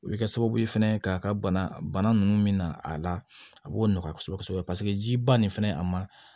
O bɛ kɛ sababu ye fɛnɛ k'a ka bana bana ninnu min na a la a b'o nɔgɔya kosɛbɛ kosɛbɛ paseke jiba nin fɛnɛ a ma